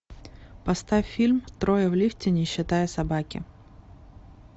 поставь фильм трое в лифте не считая собаки